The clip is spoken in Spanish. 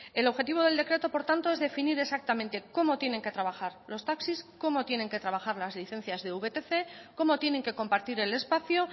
el objetivo del decreto por tanto es definir exactamente cómo tienen que trabajar los taxis cómo tienen que trabajar las licencias de vtc cómo tienen que compartir el espacio